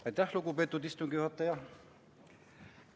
Aitäh, lugupeetud istungi juhataja!